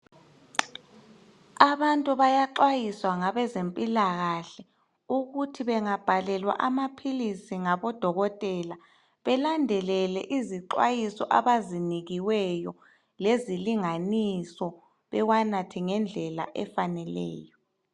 Abantu bayaxwayiswa ngabezempilakahle ukuthi bengabhalelwa amapills ngabo dokotela belandelele izxhwayiso abaziphiweyo lezilinganiso bewanathe ngendlela efaneleyo